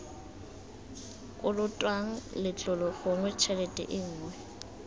kolotwang letlole gongwe tshelete nngwe